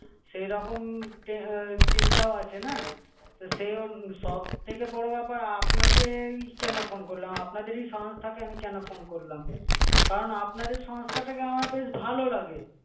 সেইরকম চিন্তাও আছে না তো সে-ও সব থেকে বড়ো ব্যাপার আপনাকেই কেন phone করলাম? আপনাদেরই সংস্থাকে আমি কেন phone করলাম? কারণ আপনাদের সংস্থাটাকে আমার বেশ ভালো লাগে